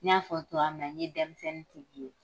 N y'a fɔ cogoya min na n ye denmisɛnnintigi ye